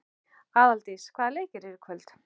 Aðaldís, hvaða leikir eru í kvöld?